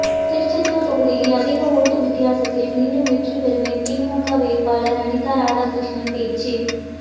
திருச்செந்தூர் தொகுதியில் அதிக ஓட்டு வித்தியாசத்தில் மீண்டும் வெற்றி பெறுவேன் திமுக வேட்பாளர் அனிதாராதாகிருஷ்ணன் பேச்சு